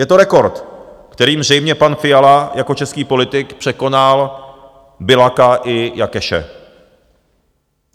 Je to rekord, kterým zřejmě pan Fiala jako český politik překonal Biľaka i Jakeše.